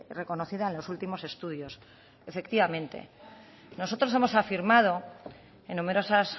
reconocida en los últimos estudios efectivamente nosotros hemos afirmado en numerosas